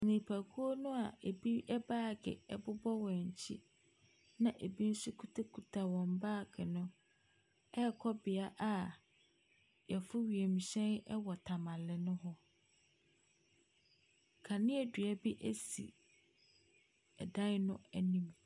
Nipakuo no a ɛbi baage bobɔ wɔn akyi na ɛbi nso kitakita wɔn baage no rekɔ beaeɛ a wɔforo wienhyɛn wɔ Temale no hɔ. Kanea dua bi si ɛdan no anim.